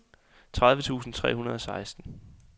tredive tusind tre hundrede og seksten